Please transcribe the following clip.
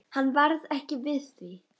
Hann varð ekki við því.